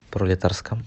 пролетарском